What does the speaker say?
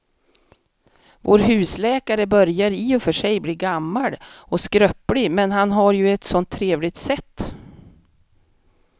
Vår husläkare börjar i och för sig bli gammal och skröplig, men han har ju ett sådant trevligt sätt!